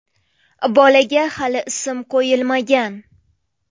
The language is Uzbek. Bolaga hali ism qo‘yilmagan.